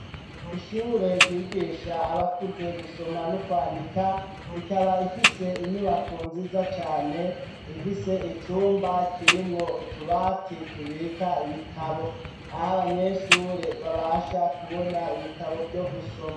Ishuri ryigisha abakuze gusoma no kwandika rikaba ifise inyubako nziza cane ifise icumba kirimwo utubati tubika ibitabo aho abanyeshuri babasha kubona ibitabo vyo gusoma.